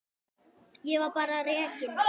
Ég var bara rekinn.